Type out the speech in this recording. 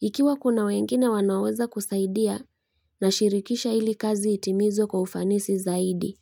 Ikiwa kuna wengine wanaoweza kusaidia nashirikisha ili kazi itimizwe kwa ufanisi zaidi.